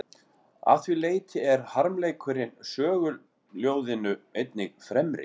Að því leyti er harmleikurinn söguljóðinu einnig fremri.